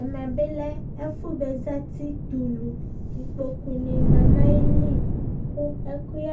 ɛmɛ lɛ ɛfʊ za tɛ ulu, ikpokunɩ lɛ nʊ ayili, kʊ ɛkʊyɛ